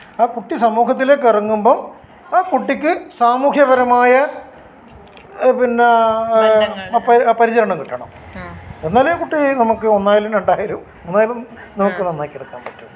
ആ കുട്ടി സമൂഹത്തിലേക്കു ഇറങ്ങുമ്പോ ആ കുട്ടിക്ക് സാമൂഹ്യപരമായ അഹ് പിന്നെ പരിചരണം കിട്ടണം എന്നാലേ കുട്ടി നമുക്ക് ഒന്നായാലും രണ്ടായാലും മൂന്നായാലും നമുക്ക് നന്നാക്കിയയെടുക്കാൻ പറ്റോള്ളൂ